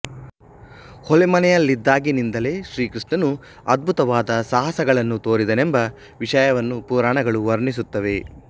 ಹೊಲೆಮನೆಯಲ್ಲಿದ್ದಾಗಿನಿಂದಲೇ ಶ್ರೀಕೃಷ್ಣನು ಅದ್ಭುತವಾದ ಸಾಹಸಗಳನ್ನು ತೋರಿದನೆಂಬ ವಿಷಯವನ್ನು ಪುರಾಣಗಳು ವರ್ಣಿಸುತ್ತವೆ